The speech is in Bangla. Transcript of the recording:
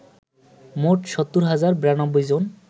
মোট ৭০ হাজার ৯২ জন